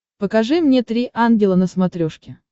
покажи мне три ангела на смотрешке